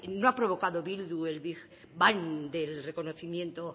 no ha provocado bildu el big bang del reconocimiento